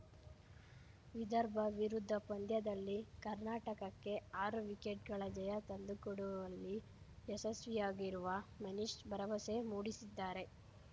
ವಿದರ್ಭ ವಿರುದ್ಧ ಪಂದ್ಯದಲ್ಲಿ ಕರ್ನಾಟಕಕ್ಕೆ ಆರು ವಿಕೆಟ್‌ಗಳ ಜಯ ತಂದುಕೊಡುವಲ್ಲಿ ಯಶಸ್ವಿಯಾಗಿರುವ ಮನೀಶ್‌ ಭರವಸೆ ಮೂಡಿಸಿದ್ದಾರೆ